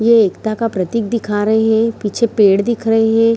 ये एकता का प्रतिक दिखा रहे | पीछे पेड़ दिख रही है ।